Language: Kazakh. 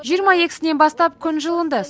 жиырма екісінен бастап күн жылынды